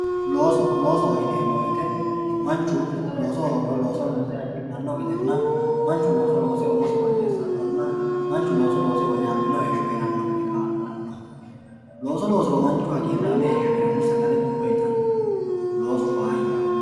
looso loosoho yineemmo wote manchu looso hoogiro looso loose hagiidhanno gedenna manchu looso loose umosi woyyeessannonna manchu looso loose woyyaabbino heeshsho heeranno gede kaa'lannoho looso loosiro manchu hagiirraame heeshsho heeranno sagale duuwe itanno loosu faayyaho.